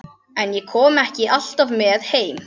En ég kom ekki alltaf með heim.